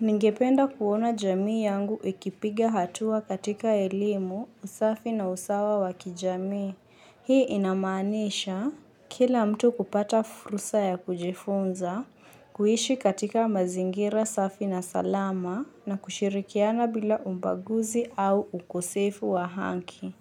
Ningependa kuona jamii yangu ikipiga hatua katika elimu, usafi na usawa wa kijamii. Hii inamaanisha kila mtu kupata fursa ya kujifunza, kuiishi katika mazingira, safi na salama na kushirikiana bila ubaguzi au ukosefu wa haki.